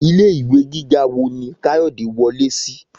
Ilé ìwé gíga wo ni Kayode wọlé sí?